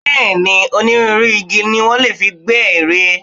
Bẹ́ẹ̀ ni, onírúnrú igi ni wọ́n lè fi gbẹ́ ère.